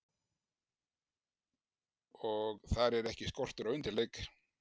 Og þar er ekki skortur á undirleik.